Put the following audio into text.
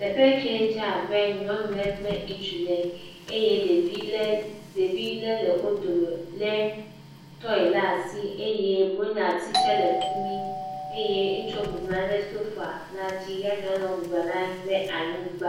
Teƒe ye ke dze abe nyɔnu ɖe kple ŋutsu ɖe eye ɖevi le le wo dome lé toi lea asi eye blonyati tsɛ le fi mi eye ŋutsua bɔbɔ nɔ anyi ɖe sofa la dzi ya nyɔnua bɔbɔ nɔ anyi ɖe anyigba.